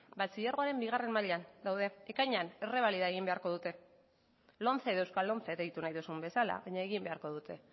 batxilergoaren bigarren mailan daude ekainean errebalida egin beharko dute lomce edo euskal lomce deitu nahi duzun bezala baina egin beharko dute